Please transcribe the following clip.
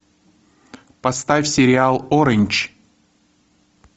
поставь сериал ориндж